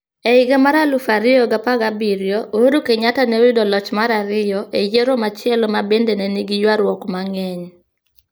E higa mar 2017, Uhuru Kenyatta ne oyudo loch mar ariyo e yiero machielo ma bende ne nigi ywaruok mang'eny.